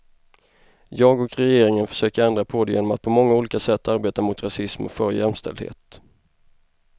Jag och regeringen försöker ändra på det genom att på många olika sätt arbeta mot rasism och för jämställdhet.